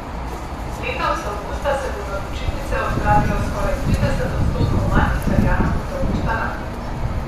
Letos avgusta se bo na počitnice odpravilo skoraj trideset odstotkov manj Italijanov kot avgusta lani.